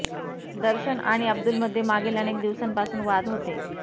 दर्शन आणि अब्दुलमध्ये मागील अनेक दिवसांपासून वाद होते